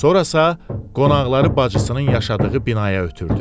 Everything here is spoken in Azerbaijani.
Sonra isə qonaqları bacısının yaşadığı binaya ötürdü.